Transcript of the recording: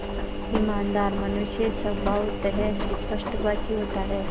ईमानदार मनुष्य स्वभावतः स्पष्टभाषी होता है